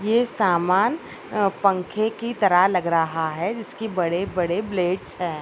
ये सामान पंखे की तरह लग रहा है जिसकी बड़े-बड़े ब्लेड्स है।